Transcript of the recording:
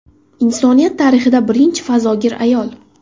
Insoniyat tarixida birinchi fazogir ayol.